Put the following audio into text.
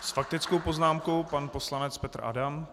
S faktickou poznámkou pan poslanec Petr Adam.